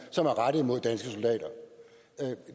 som er rettet mod danske soldater